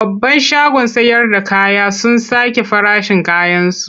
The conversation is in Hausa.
Babban shagon sayarda kaya sun sake farashin kayansu.